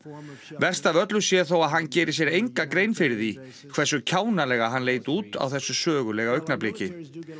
verst af öllu sé þó að hann geri sér enga grein fyrir því hversu kjánalega hann leit út á þessu sögulega augnabliki